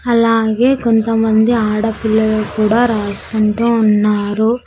అలాగే కొంత మంది ఆడపిల్లలు కూడా రాసుకుంటూ ఉన్నారు.